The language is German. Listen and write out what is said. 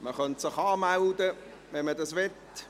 Man könnte sich anmelden, wenn man das möchte.